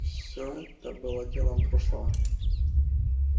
все это было делом прошлого